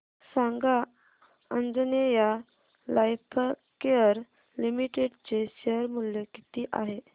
सांगा Anjaneya Lifecare Limited चे share मूल्य किती आहे